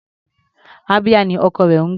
Abia ni ọkọ rẹ̀ ń gbé.